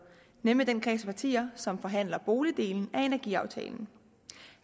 i nemlig den kreds af partier som forhandler boligdelen af energiaftalen